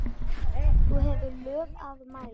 þú hefur lög að mæla